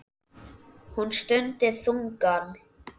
Hún stundi þungan.